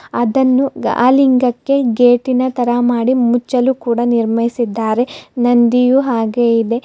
ಅದನ್ನು ಆ ಲಿಂಗಕ್ಕೆ ಗೇಟಿನ ತರಹ ಮಾಡಿ ಮುಚ್ಚಿಲು ಕೂಡ ನಿರ್ಮಿಸಿದ್ದಾರೆ ನಂದಿಯೂ ಹಾಗೆ ಇದೆ.